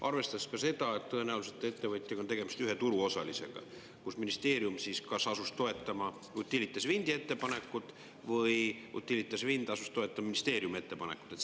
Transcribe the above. Arvestades ka seda, et tõenäoliselt ettevõtja näol on tegemist ühe turuosalisega ja ministeerium siis kas asus toetama Utilitas Windi ettepanekut või Utilitas Wind asus toetama ministeeriumi ettepanekut?